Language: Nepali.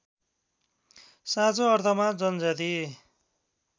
साँचो अर्थमा जनजाति